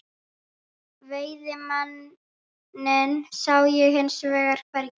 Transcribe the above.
Veiðimanninn sá ég hins vegar hvergi.